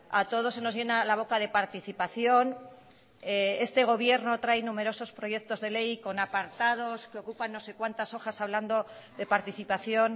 a todos se nos llena la boca de participación este gobierno trae numerosos proyectos de ley con apartados que ocupan no sé cuantas hojas hablando de participación